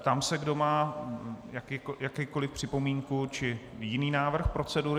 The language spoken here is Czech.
Ptám se, kdo má jakoukoliv připomínku či jiný návrh procedury.